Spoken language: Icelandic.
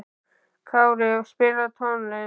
Kári, spilaðu tónlist.